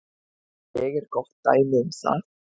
Ég er gott dæmi um það.